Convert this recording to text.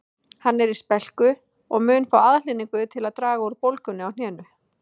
Hann er í spelku og mun fá aðhlynningu til að draga úr bólgunni á hnénu